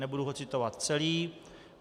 Nebudu ho citovat celý.